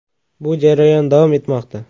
Bu jarayon davom etmoqda.